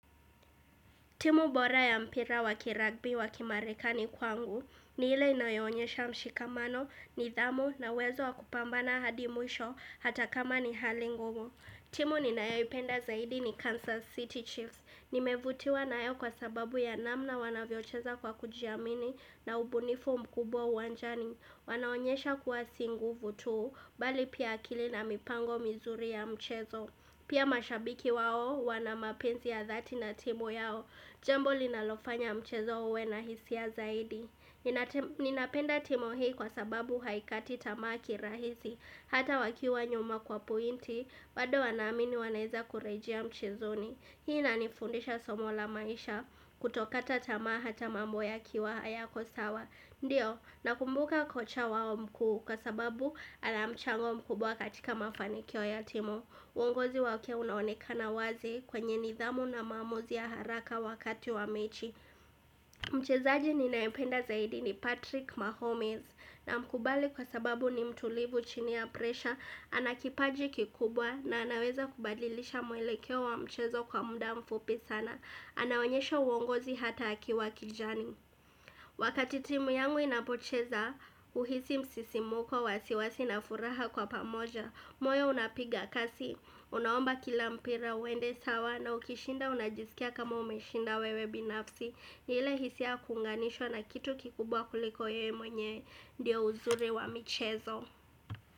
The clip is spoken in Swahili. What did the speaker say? Timu bora ya mpira wakiragbi wakimarekani kwangu ni hile inayonyesha mshikamano ni dhamu na wezo wakupambana hadimwisho hata kama ni halingungu. Timu ninaeo upenda zaidi ni Kansas City Chiefs. Nimevutiwa naeo kwa sababu ya namna wanavyocheza kwa kujiamini na ubunifu mkubwa uanjani. Wanaonyesha kuwa singu vutu, bali pia akili na mipango mizuri ya mchezo. Pia mashabiki wao wanamapenzi ya dhati na timu yao. Jembo linalofanya mchezo uwe na hisia zaidi Ninapenda timu hii kwa sababu haikati tamaa kirahisi Hata wakiwa nyuma kwa pointi bado wanaamini waneza kurejea mchezo ni Hii na nifundisha somo la maisha kutokata tamaa hatamambo ya kiwa haya kosawa Ndiyo, nakumbuka kocha wao mkuu Kwa sababu anamchango mkubwa katika mafanikyo ya timu uongozi wakia unaonekana wazi kwenye nidhamu na mamuzi ya haraka wakati wa mechi Mchezaji ni naependa zaidi ni Patrick Mahomes na mkubali kwa sababu ni mtulivu chini ya presha Anakipaji kikubwa na anaweza kubadilisha muelekeo wa mchezo kwa muda mfupi sana Anaonyesha uongozi hata akiwa kijani Wakati timu yangu inapocheza uhisi msisimuko wasiwasi na furaha kwa pamoja moyo unapiga kasi, unaomba kilampira, uende sawa na ukishinda unajisikia kama umeshinda wewe binafsi ni ile hisia kunganishwa na kitu kikubwa kuliko ye mwenye, ndio uzuri wa michezo.